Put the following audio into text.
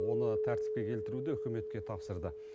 оны тәртіпке келтіруді үкіметке тапсырды